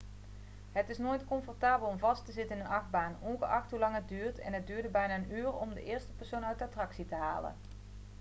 het is nooit comfortabel om vast te zitten in een achtbaan ongeacht hoelang het duurt en het duurde bijna een uur om de eerste persoon uit de attractie te halen.'